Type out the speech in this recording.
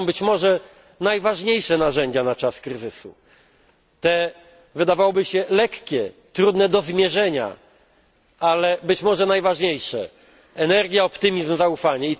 To są być może najważniejsze narzędzia na czas kryzysu, te wydawałoby się lekkie, trudne do zmierzenia, ale być może najważniejsze energia, optymizm, zaufanie.